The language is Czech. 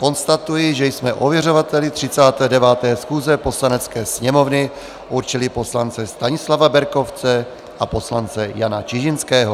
Konstatuji, že jsme ověřovateli 39. schůze Poslanecké sněmovny určili poslance Stanislava Berkovce a poslance Jana Čižinského.